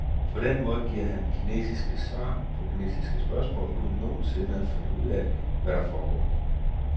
På den måde giver han kinesiske svar på kinesiske spørgsmål, uden nogensinde at finde ud af, hvad der foregår.